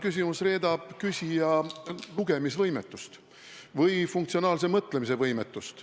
Küsimus reedab küsija lugemisvõimetust või funktsionaalse mõtlemise võimetust.